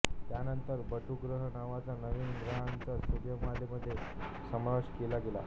त्यानंतर बटुग्रह नावाच्या नवीन ग्रहाचा सूर्यमालेमध्ये समावेश केला गेला